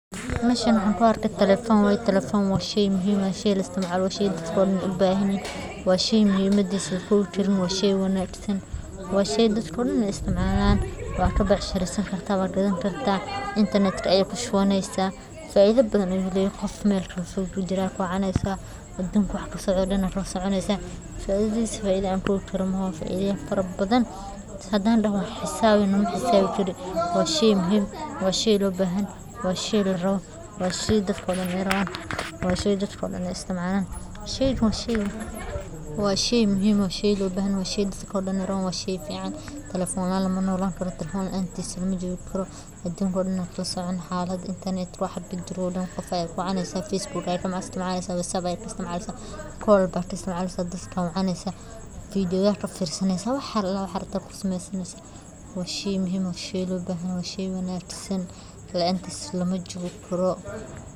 Waa barnaamij loogu talagalay isticmaalaha korontada oo ku shaqeeya telefoonada smart-ka, kaas oo fursad u siinaya macaamiisha inay iska bixiyaan biilashooda korontada si fudud iyo degdeg ah, kordhinta awoodda isticmaalka, helitaanka macluumaadka ku saabsan kharashyada korontada, booqashada goobaha lagu bixiyo lacagaha, dayactirka khidmadaha, soo dejinta qoraalo rasmi ah, gorfayn arrimaha dhibaatooyinka sida go'doonsiga korontada, isticmaarka shuruudaha lagama maarmaanka u ah, beddelka qalabka korontada, dalbashada macluumaad dheeraad ah.